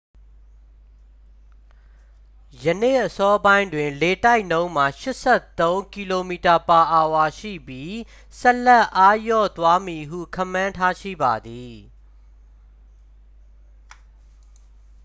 ယနေ့အစောပိုင်းတွင် လေတိုက်နှုန်းမှာ 83 km/h ရှိပြီး ဆက်လက်အားလျော့သွားမည်ဟု ခန့်မှန်းထားရှိပါသည်